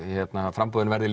framboðin verði